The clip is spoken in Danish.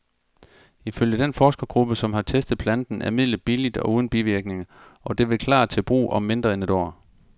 Ifølge den forskergruppe, som har testet planten, er midlet billigt og uden bivirkninger, og det vil klar til brug om mindre end et år.